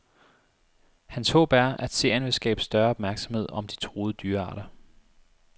Hans håb er, at serien vil skabe større opmærksomhed om de truede dyrearter.